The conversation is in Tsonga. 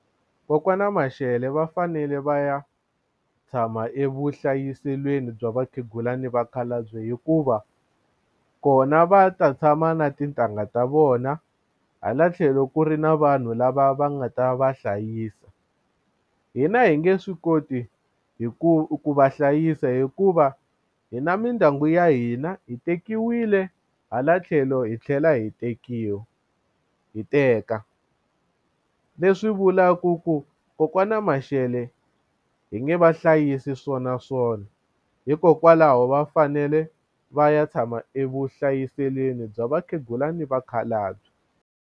Kokwani Mashele va fanele va ya tshama evuhlayiselweni bya vakhegula ni vakhalabye hikuva kona va ta tshama na tintangha ta vona hala tlhelo ku ri na vanhu lava va nga ta va hlayisa hina hi nge swi koti hi ku va hlayisa hikuva hi na mindyangu ya hina hi tekiwile hala tlhelo hi tlhela hi tekiwa hi teka leswi vulaku ku kokwani Mashele hi nge vahlayisi swona swona hikokwalaho va fanele va ya tshama evuhlayiselweni bya vakhegula ni vakhalabye.